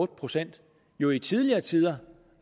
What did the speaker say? procent jo i tidligere tider